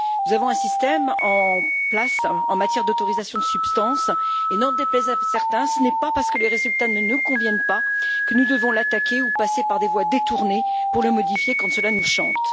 Nous avons un système en place, en matière d'autorisation de substances, et n'en déplaise à certains, ce n'est pas parce que les résultats ne nous conviennent pas, que nous devons l'attaquer ou passer par des voies détournées pour le modifier, quand cela nous chante.